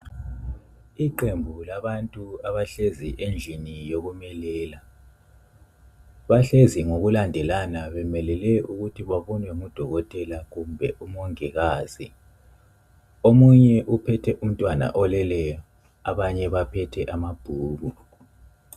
Iqembu labantu abahlezi endlini yokumelela. Bahlezi ngokulandelana bemelele ukuthi babonwe ngudokotela kumbe umongikazi. Omunye uphethe umntwana oleleyo abanye baphethe amabhuku.